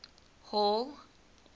hall